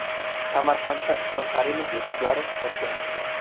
Samarqandda Islom Karimov o‘qishlari boshlandi.